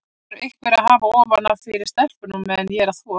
Það þarf einhver að hafa ofan af fyrir stelpunum á meðan ég er að þvo.